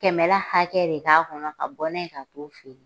Kɛmɛla hakɛ re k'a kɔnɔ, ka bɔ n'a ye ka t'o feere.